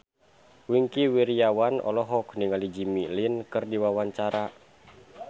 Wingky Wiryawan olohok ningali Jimmy Lin keur diwawancara